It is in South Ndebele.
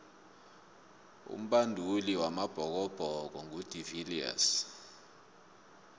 umbanduli wamabhokobhoko ngu de viliers